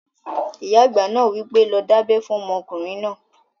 Ìyá àgbà náà wí pé, 'lọ dábẹ́ fún ọmọkùnrin náà!"